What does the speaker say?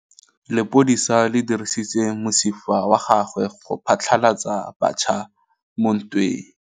Lepodisa le dirisitse mosifa wa gagwe go phatlalatsa batšha mo ntweng.